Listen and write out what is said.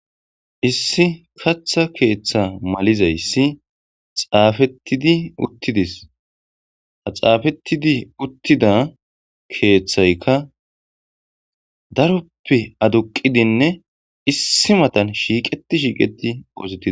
Issi katha keeththa malizayssi xaafettidi uttidis ha xaafettidi uttida keeththayka daroppe aduqidinne issi matan shiiqeti shiiqeti ozetidi.